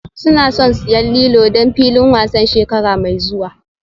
Suna son siyan lilo don filin wasan shekara mai zuwa